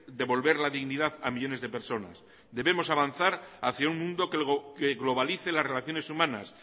devolver la dignidad a millónes de personas debemos avanzar hacia un mundo que globalice las relaciones humanas